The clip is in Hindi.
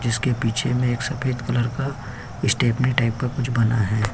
जिसके पीछे में एक सफेद कलर का स्टेपनी टाइप का कुछ बना है।